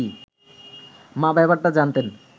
মা ব্যাপারটা জানতেন